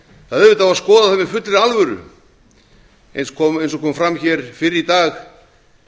auðvitað á að skoða það með fullri alvöru eins og kom fram hér fyrr í dag